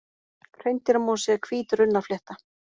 Hreindýramosi er hvít runnaflétta.